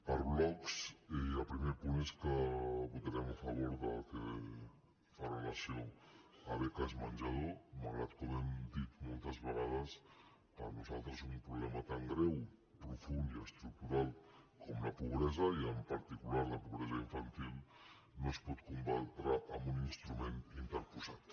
per blocs el primer punt és que votarem a favor del que fa relació a beques menjador malgrat com hem dit moltes vegades que per nosaltres un problema tan greu profund i estructural com la pobresa i en particular la pobresa infantil no es pot combatre amb un instrument interposat